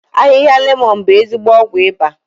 Ahịhịa lemọ̀n bụ ezigbo ọgwụ ịba